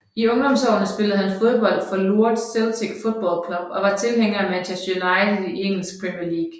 I ungdomsårene spillede han fodbold for Lourdes Celtic Football Club og var tilhænger af Manchester United i engelsk Premier League